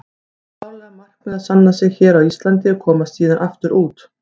Það er klárlega markmiðið að sanna sig hér á Íslandi og komast síðan aftur út.